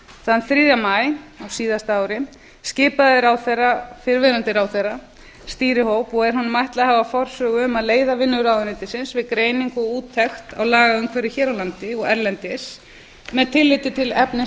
þann þriðja maí á síðasta ári skipaði fyrrverandi ráðherra stýrihóp og er honum ætlað að hafa forsögu um að leiða vinnur ráðuneytisins við greiningu og úttekt á lagaumhverfi hér á landi og erlendis með tillits til efnis